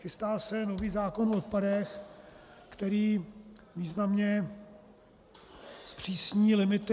Chystá se nový zákon o odpadech, který významně zpřísní limity.